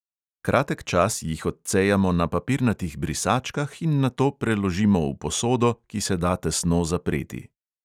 Kratek čas jih odcejamo na papirnatih brisačkah in nato preložimo v posodo, ki se da tesno zapreti.